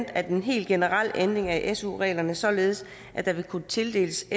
at en helt generel ændring af su reglerne således at der vil kunne tildeles